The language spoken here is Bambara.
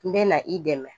N bɛ na i dɛmɛ